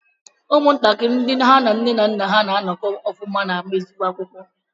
Ụmụntakịrị ndị ha na nne na nna ha na-anọkọ ọfụma na-ama ezigbo akwụkwọ.